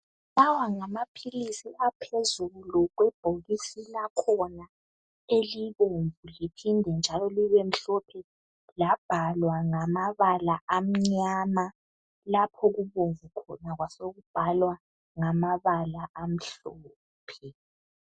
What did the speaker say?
Lawa ngamaphilisi aphezulu kwebhokisi lakhona, elibomvu, liphinde njalo libemhlophe. Labhalwa ngamabala amnyama. Lapho okubomvu khona kwasekubhalwa nganabala amhlophe.